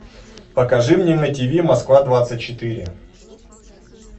покажи мне на тв москва двадцать четыре